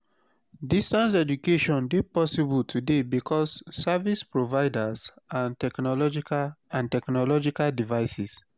distance education de possible today because service providers and technological and technological devices